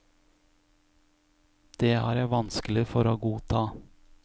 Det har jeg vanskelig for å godta.